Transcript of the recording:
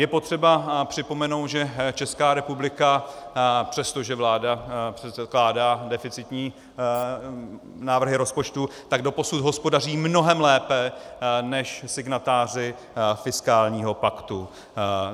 Je potřeba připomenout, že Česká republika, přestože vláda předkládá deficitní návrhy rozpočtu, tak doposud hospodaří mnohem lépe než signatáři fiskálního paktu.